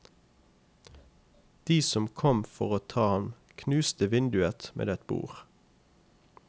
De som kom for å ta ham knuste vinduet med et bord.